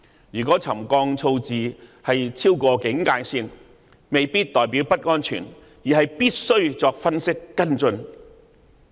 如果沉降數字超過警戒線，未必代表不安全，而是必須作分析和跟進。